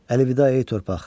Əlvida ey torpaq!